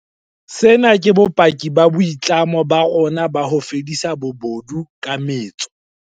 Sena ke bopaki ba boitlamo ba rona ba ho fedisa bobodu ka metso.